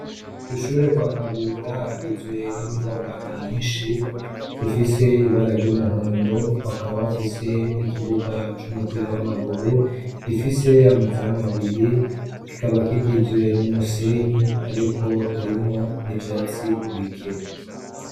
Kw'ishure kwa Kabura hagizwe n'inyubaka nyinshi, zifise ibara ry'umuhondo. Bakaba bafise n'ikibuga c'umupira w'amaguru, gifise amazamu abiri, kikaba kigizwe n'umusenyi ariko harinwo n'ivyatsi bike.